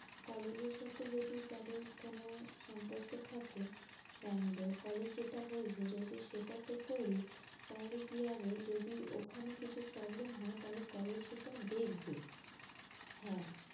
college এর সাথে যদি তাদের কোন সম্পর্ক থাকে bank দের college যেটা বলছে যদি সেটাতে করি, তাহলে কি হবে যদি ওখানে কিছু problem হয়, college সেটা দেখবে, হ্যাঁ।